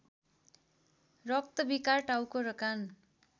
रक्तविकार टाउको र कान